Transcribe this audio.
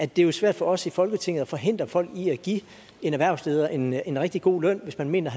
det er svært for os i folketinget at forhindre folk i at give en erhvervsleder en en rigtig god løn hvis man mener